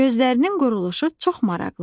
Gözlərinin quruluşu çox maraqlıdır.